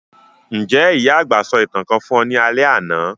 Njẹ́ ìyà-àgbà sọ ​​ìtàn kan fun ọ ni alẹ́ àná?